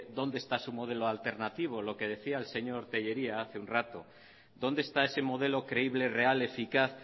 dónde está su modelo alternativo lo que decía el señor tellería hace un rato dónde está ese modelo creíble real eficaz